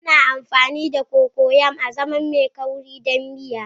Ana amfani da Cocoyam azaman mai kauri don miya.